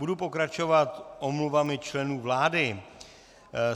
Budu pokračovat omluvami členů vlády.